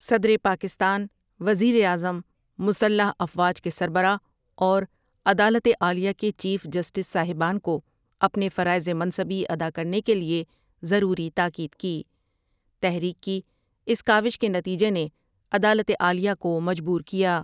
صدر پاکستان، وزیراعظم، مسلح افواج کے سربراہ اور عدالت عالیہ کے چیف جسٹس صاحبان کو اپنے فرائض منصبی ادا کرنے کے لئے ضروری تاکید کی تحریک کی اس کاوش کے نتیجہ نے عدالت عالیہ کو مجبور کیا ۔